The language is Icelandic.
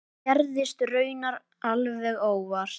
Það gerðist raunar alveg óvart.